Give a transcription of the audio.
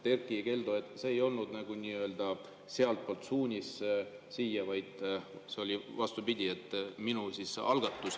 Erkki Keldo, see ei olnud nagu sealtpoolt suunis siia, vaid see oli, vastupidi, minu algatus.